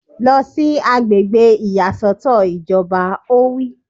Lọ sí àgbègbè ìyàsọ́tọ̀ ìjọba! Ó wí